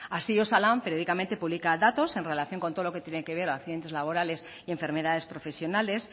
así osalan periódicamente publica datos en relación con todo lo que tiene que ver de accidentes laborales y enfermedades profesionales